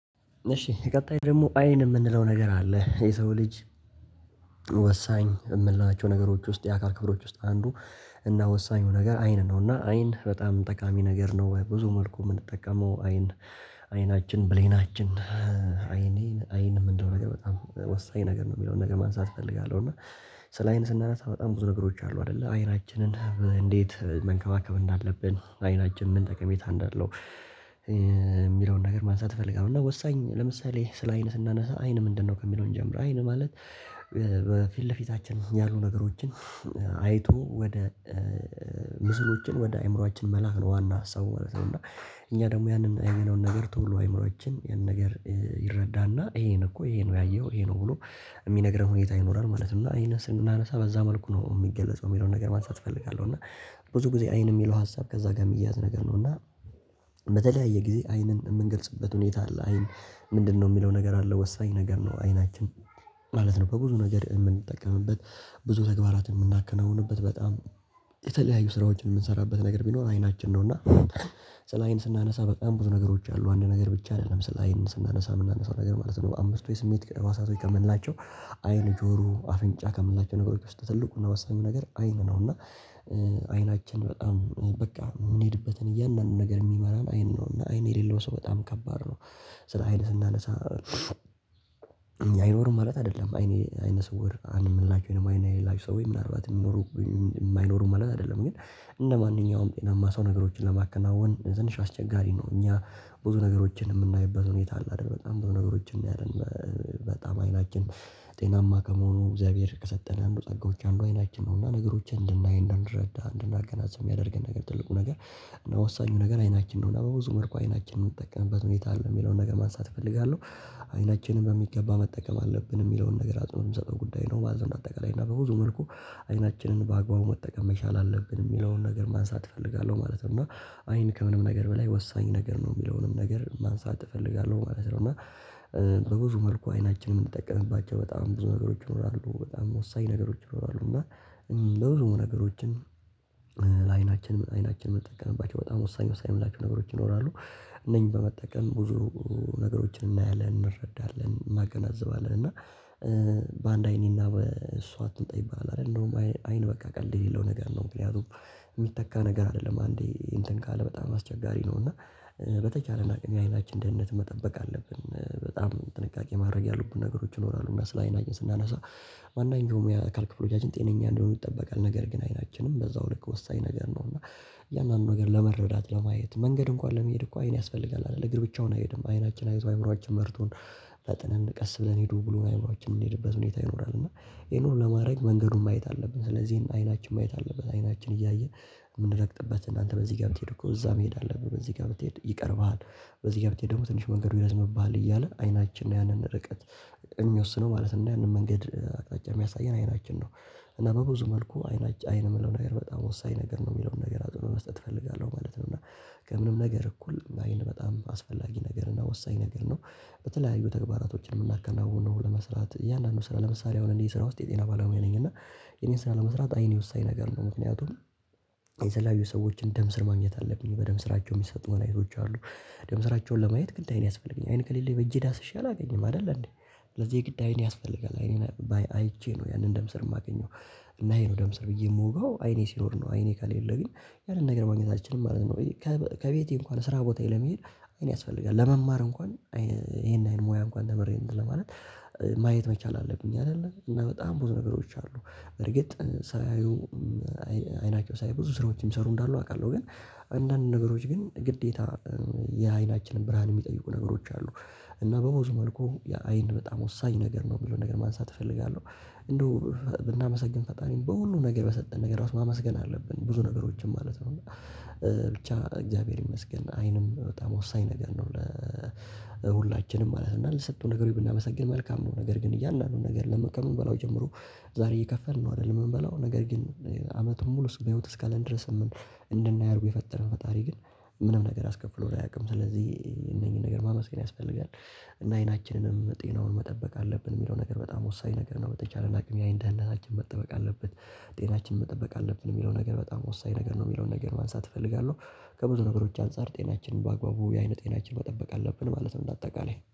እሺ ቀጣይ ደግሞ አይን የምንለው ነገር አለ የሰው ልጅ። ወሳኝ የምንላቸው ነገሮች ውስጥ የአካል ክፍሎች ውስጥ አንዱ እና ወሳኙ ነገር አይን ነው እና አይን በጣም ጠቃሚ ነገር ነው። በብዙ መልኩ የምንጠቀመው አይን አይናችን ብሌናችን አይኔ አይን የምንለው ነገር በጣም ወሳኝ ነገር ነው የሚለውን ነገር ማንሳት እፈልጋለሁ። እና ስለ አይን ስናነሳ በጣም ብዙ ነገሮች አሉ አይደለ አይናችንን እንዴት መንከባከብ እንዳለብን አይናችን ምን ጠቀሜታ እንዳለው የሚለውን ነገር ማንሳት እፈልጋለሁ። እና ወሳኝ ለምሳሌ ስለ አይን ስናነሳ አይን ምንድነው ከሚለው እንጀምር? አይን ማለት በፊት ለፊታችን ያሉ ነገሮችን አይቶ ወደ ምስሎችን ወደ አእምሮአችን መላክ ነው ዋና ሀሳቡ ማለት ነው። እና እኛ ደግሞ ያንን የሚለውን ነገር ቶሎ አይምሮአችን ያንን ነገር ይረዳና ይሄን እኮ ይሄ ነው ያየው ይሄ ነው ብሎ የሚነግረን ሁኔታ ይኖራል ማለት ነው። እና ይህንን ስናነሳ በዛ መልኩ ነው የሚገለጸው የሚለውን ነገር ማንሳት እፈልጋለሁ። እና ብዙ ጊዜ አይን የሚለው ሀሳብ ከዛ ጋር የሚያያዝ ነገር ነው እና በተለያየ ጊዜ አይንን የምንገልጽበት ሁኔታ አለ። አይን ምንድነው የሚለው ነገር አለ ወሳኝ ነገር ነው። አይናችን ማለት ነው በብዙ ነገር የምንጠቀምበት ብዙ ተግባራትን የምናከናውንበት በጣም የተለያዩ ስራዎችን የምንሰራበት ነገር ቢኖር አይናችን ነው። እና ስለ አይን ስናነሳ በጣም ብዙ ነገሮች አሉ አንድ ነገር ብቻ አይደለም ስለአይን ስናነሳ የምናነሳው ነገር ማለት ነው። አምስቱ የስሜት ህዋሳቶች ከምንላቸው አይን ጆሮ አፍንጫ ከምንላቸው ነገሮች ውስጥ ትልቁና ወሳኙ ነገር አይን ነው። እና አይናችን በጣም በቃ የምንሄድበትን እያንዳንዱን ነገር የሚመራን አይን ነው እና አይን የሌለው ሰው በጣም ከባድ ነው። ስለ አይን ስናነሳ ኣይኖሩም ማለት አይደለም አይነስወር አንድ የምንላችሁ ደግሞ አይን የሌላቸው ሰዎች ምናልባት የሚኖሩ ኣይኖሩም ማለት አይደለም ግን እንደ ማንኛውም ጤናማ ሰው ነገሮችን ለማከናወን ትንሽ አስቸጋሪ ነው። እኛ ብዙ ነገሮችን የምናይበት ሁኔታ አለ አይደል በጣም ብዙ ነገሮችን እናያለን በጣም አይናችን ጤናማ ከመሆኑ እግዚአብሔር ከሰጠን አንዱ ጸጋዎች አንዱ አይናችን ነው። እና ነገሮችን እንድናይ እንድንረዳ እንድናገናዝብ የሚያደርገን ነገር ትልቁ ነገር እና ወሳኙ ነገር አይናችን ነው። እና በብዙ መልኩ አይናችንን የምንጠቀምበት ሁኔታ አለ የሚለውን ነገር ማንሳት እፈልጋለሁ አይናችንን በሚገባ መጠቀም አለብን የሚለውን ነገር አጽንኦት የምሰጠው ጉዳይ ነው ማለት ነው። አንደ አጠቃላይ እና በብዙ መልኩ አይናችንን በአግባቡ መጠቀም መቻል አለብን የሚለውን ነገር ማንሳት እፈልጋለሁ ማለት ነው። እና አይን ከምንም ነገር በላይ ወሳኝ ነገር ነው የሚለውንም ነገር ማንሳት እፈልጋለሁ ማለት ነው። እና በብዙ መልኩ አይናችንን የምንጠቀምባቸው በጣም ብዙ ነገሮች ይኖራሉ በጣም ወሳኝ ነገሮች ይኖራሉ እና በብዙ ነገሮችን ለአይናችን አይናችን ምንጠቀምባቸው በጣም ወሳኝ ወሳኝ ምንላቸው ነገሮች ይኖራሉ። እነኚህን በመጠቀም ብዙ ነገሮችን እናያለን እንረዳለን እናገናዝባለን እና በአንድ አይኔና በእሷ አትምጣ ይባላል ኣደል እንደውም አይን በቃ ቀልድ የሌለው ነገር ነው። ምክንያቱም የሚተካ ነገር አይደለም አንዴ እንትን ካለ በጣም አስቸጋሪ ነው እና በተቻለን አቅም የአይናችንን ደህንነት መጠበቅ አለብን በጣም ጥንቃቄ ማድረግ ያሉብን ነገሮች ይኖራሉ። እና ስለ አይናችን ስናነሳ አንዳንድ ደግሞ የአካል ክፍሎቻችን ጤነኛ እንደሆኑ ይጠበቃል ነገር ግን አይናችንም በዛው ልክ ወሳኝ ነገር ነው። እና እያንዳንዱን ነገር ለመረዳት ለማየት መንገድ እንኳን ለመሄድ እኮ አይን ያስፈልጋል አይደል እግር ብቻውን አይሄድም አይናችን አይቶ አይምሮአችን መርቶን ፈጥነን ቀስ ብለን ሂዱ ብሎ አይምሮአችን የምንሄድበት ሁኔታ ይኖራል። እና ይሄን ሁሉ ለማድረግ መንገዱን ማየት አለብን ስለዚህ አይናችን ማየት አለበት አይናችን እያየ የምንረግጥበትን አንተ በዚህ ጋር ብትሄድ እኮ እዛ መሄድ አለብህ በዚህ ጋር ብትሄድ ይቀርባል በዚህ ጋር ብትሄድ ደግሞ ትንሽ መንገዱ ይረዝምብሃል እያለ አይናችን ነው ያንን ርቀት የሚወስነው ማለት እና ያንን መንገድ አቅጣጫ የሚያሳየን አይናችን ነው። እና በብዙ መልኩ አይን የሚለው ነገር በጣም ወሳኝ ነገር ነው የሚለውን ነገር አጽንዖት መስጠት እፈልጋለሁ ማለት ነው። እና ከምንም ነገር እኩል አይን በጣም አስፈላጊ ነገር እና ወሳኝ ነገር ነው በተለያዩ ተግባራቶች የምናከናውነው ለመስራት እያንዳንዱ ስራ ለምሳሌ አሁን እኔ ስራ ውስጥ የጤና ባለሙያ ነኝ እና የኔን ስራ ለመስራት አይኔ ወሳኝ ነገር ነው። ምክንያቱም የተለያዩ ሰዎችን ደም ስር ማግኘት አለብኝ በደም ስራቸው የሚሰጡ መጻኒቶች አሉ ደም ስራቸውን ለማየት ግድ አይን ያስፈልገኛል። አይን ከሌለኝ በእጄ ዳስሼ አላገኝም አይደል አንዴ ስለዚህ የግድ አይን ያስፈልጋል አይኔን አይቼ ነው ያንን ደም ስር የማገኘው እና ይሄ ነው ደም ስር ብዬ የምወጋው አይኔ ሲኖር ነው አይኔ ከሌለ ግን ያንን ነገር ማግኘት አንችልም ማለት ነው። ከቤቴ እንኳን ስራ ቦታዬ ለመሄድ አይን ያስፈልጋል ለመማር እንኳን ይሄን ያህል ሙያ እንኳን ተምሬ እንትን ለማረግ ማየት መቻል አለብኝ አይደለ እና በጣም ብዙ ነገሮች አሉ። እርግጥ ሳያዩ አይናቸው ሳያይ ብዙ ስራዎችን የሚሰሩ እንዳሉ አውቃለሁ ግን አንዳንድ ነገሮች ግን ግዴታ የአይናችንን ብርሃን የሚጠይቁ ነገሮች አሉ እና በብዙ መልኩ የአይን በጣም ወሳኝ ነገር ነው የሚለውን ነገር ማንሳት እፈልጋለሁ። እንደው ብናመሰግን ፈጣሪን በሁሉም ነገር በሰጠን ነገር ማመስገን አለብን ብዙ ነገሮችን ማለት ነው እና ብቻ እግዚአብሔር ይመስገን አይንም በጣም ወሳኝ ነገር ነው ለሁላችንም ማለት ነው። እና ለተሰጡን ነገሮች ብናመሰግን መልካም ነው ነገር ግን እያንዳንዱን ነገር ከምንበላው ጀምሮ ዛሬ እየከፈልን ነው አይደል የምንበላው ነገር ግን አመቱን ሙሉ በህይወት እስካለን ድረስ እንድናይ አርጎ የፈጠረን ፈጣሪ ግን ምንም ነገር አስከፍሎ አያውቅም ስለዚህ እነኚህን ነገር ማመስገን ያስፈልጋል። እና አይናችንንም ጤናውን መጠበቅ አለብን የሚለው ነገር በጣም ወሳኝ ነገር ነው። በተቻለን አቅም ያይን ደህንነታችን መጠበቅ አለበት ጤናችን መጠበቅ አለብን የሚለው ነገር በጣም ወሳኝ ነገር ነው የሚለውን ነገር ማንሳት እፈልጋለሁ ከብዙ ነገሮች አንፃር ጤናችንን በአግባቡ የአይን ጤናችን መጠበቅ አለብን ማለት ነው። እንደ አጠቃላይ